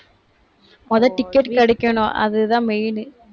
முதல் ticket கிடைக்கணும். அதுதான் main உ